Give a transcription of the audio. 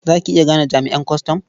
Za ki iya gane jami'an kwastam?